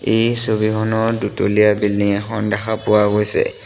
এই ছবিখনত দুতলীয়া বিল্ডিং এখন দেখা পোৱা গৈছে।